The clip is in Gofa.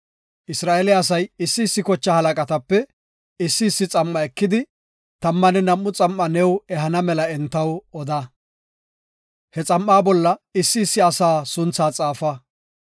“Isra7eele asay issi issi kochaa halaqatape issi issi xam7a ekidi tammanne nam7u xam7a new ehana mela entaw oda. He xam7aa bolla issi issi asaa sunthaa xaafa.